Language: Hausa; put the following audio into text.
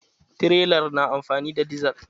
Tirelar na amfani da dizal.